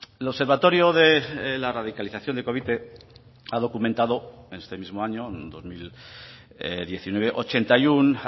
el observatorio de la radicalización de covite ha documentado este mismo año dos mil diecinueve ochenta y uno